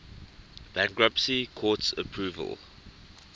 bankruptcy court's approval